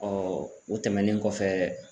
o tɛmɛnen kɔfɛ